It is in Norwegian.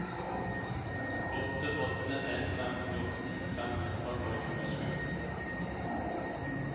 åtte åtte en fem fjorten fem hundre og tjuesju